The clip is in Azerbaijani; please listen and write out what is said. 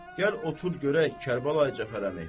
Gəl otur görək, Kərbəlayi Cəfər əmi.